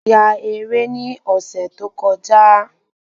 A ya eré ni ọ̀sẹ̀ tó kọjá